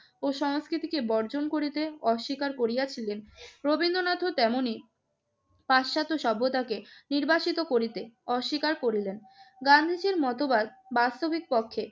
ও সংস্কৃতিকে বর্জন করিতে অস্বীকার করিয়াছিলেন, রবীন্দ্রনাথও তেমনি পাশ্চাত্য সভ্যতাকে নির্বাসিত করিতে অস্বীকার করলেন। গান্ধীজির মতবাদ বাস্তবিক পক্ষে